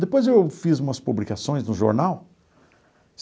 Depois eu fiz umas publicações no jornal.